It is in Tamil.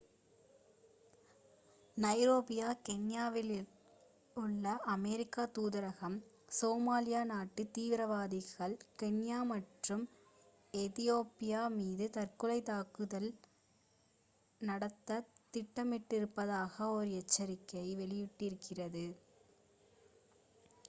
நைரோபி கென்யாவிலுள்ள அமெரிக்க தூதரகம் சோமாலியா நாட்டு தீவிரவாதிகள் கென்யா மற்றும் எதியோப்பியா மீது தற்கொலைத் தாக்குதல் நடத்தத் திட்டமிட்டிருப்பதாக ஒரு எச்சரிக்கை வெளியிட்டிருக்கிறது